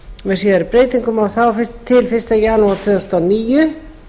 með síðari breytingum og þá til fyrsta janúar tvö þúsund og níu